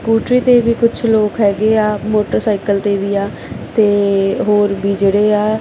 ਕੂਟਰੀ ਤੇ ਵੀ ਕੁੱਛ ਲੋਕ ਹੈਗੇ ਯਾ ਮੋਟਰਸਾਈਕਲ ਤੇ ਵੀ ਆ ਤੇ ਹੋਰ ਵੀ ਜੇਹੜੇ ਆ--